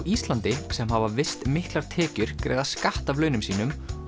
Íslandi sem hafa visst miklar tekjur greiða skatt af launum sínum